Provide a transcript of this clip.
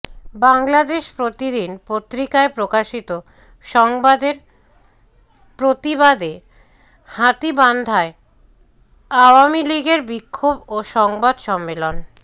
বাংলাদেশ প্রতিদিন পত্রিকায় প্রকাশিত সংবাদএর প্রতিবাদেহাতীবান্ধায় আওয়ামীলীগ এর বিক্ষোভ ও সংবাদ সম্মেলন